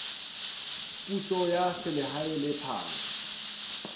puso ya selehae le phano